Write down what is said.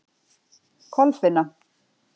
Kolfinna